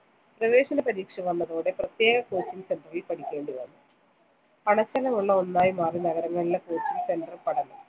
പ്രവേശന പരീക്ഷ വന്നതോടെ, പ്രത്യേക coaching centre ൽ പഠിക്കേണ്ടിവന്നു. പണച്ചെലവുളള ഒന്നായി മാറി നഗരങ്ങളിലെ coaching centre പഠനം.